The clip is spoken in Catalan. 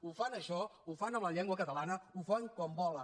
ho fan amb això ho fan amb la llengua catalana ho fan quan volen